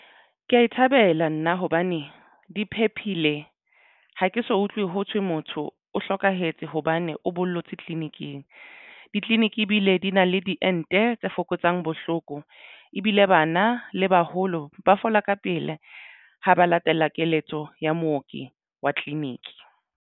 Ke ya e thabela nna hobane di phephile ha ke so utlwe ho thwe motho o hlokahetse hobane o bollotse tleleniking. Ditleliniki ebile di na le diente tse fokotsang bohloko ebile bana le baholo ba fola ka pele ha ba latela keletso ya mooki wa Clinic.